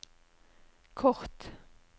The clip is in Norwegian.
kort